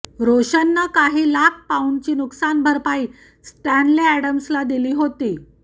रोशनं काही लाख पौंडांची नुकसानभरपाई स्टॅन्ले अॅडॅम्सला दिली होती